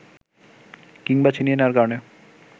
কিংবা ছিনিয়ে নেয়ার কারণে